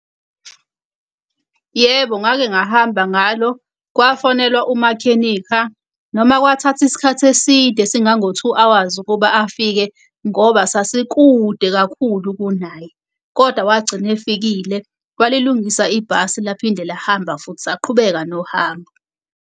Yebo, ngake ngahamba ngalo kwafonelwa umakhenikha. Noma kwathatha isikhathi eside esingango-two hours ukuba afike ngoba sasikude kakhulu kunaye, koda wagcina efikile walilungisa ibhasi laphinde lahamba futhi saqhubeka nohambo.